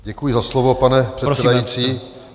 Děkuji za slovo, pane předsedající.